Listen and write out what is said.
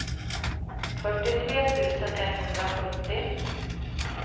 fyrtiotre tusen etthundrasjuttio